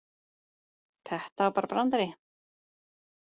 Þetta var bara brandari.